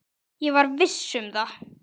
Ég var viss um það.